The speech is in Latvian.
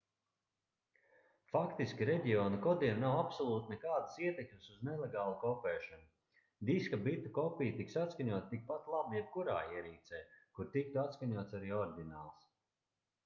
faktiski reģionu kodiem nav absolūti nekādas ietekmes uz nelegālu kopēšanu diska bitu kopija tiks atskaņota tikpat labi jebkurā ierīcē kur tiktu atskaņots arī oriģināls